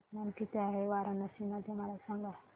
तापमान किती आहे वाराणसी मध्ये मला सांगा